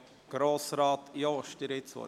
– Grossrat Jost, Sie haben das Wort.